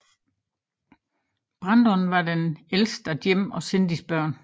Brandon var det ældeste af Jim og Cindys børn